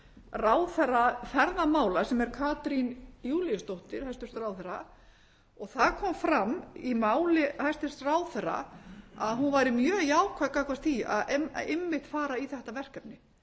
ráðherra ferðamála sem er katrín júlíusdóttir hæstvirtur ráðherra þar kom fram í máli hæstvirts ráðherra að hún væri mjög jákvæð gagnvart því að einmitt að fara í þetta verkefni